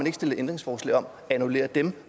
ikke stillet ændringsforslag om at annullere dem